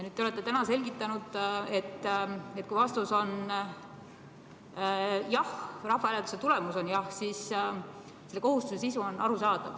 Te olete täna selgitanud, et kui vastus on jah, rahvahääletuse tulemus on jah, siis selle kohustuse sisu on arusaadav.